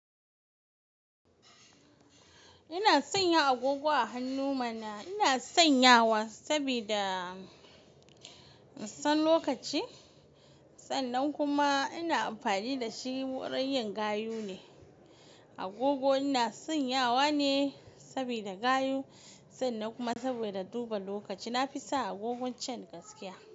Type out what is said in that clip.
Ina sanya agogo a hannu mana. Ina sanyawa sabida na san lokaci, sannan kuma ina amfani da shi wurin yin gayu ne. Agogo ina sanyawa ne sabida gayu, sannan kuma saboda duba lokaci. Na fi sa agogon can gaskiya.